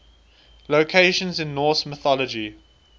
locations in norse mythology